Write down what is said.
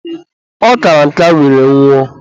ọ kara nka were nwụọ.